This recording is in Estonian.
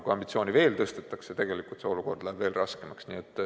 Kui ambitsiooni veel tõstetakse, siis see olukord läheb raskemaks.